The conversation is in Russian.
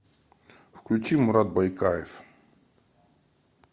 включи мурад байкаев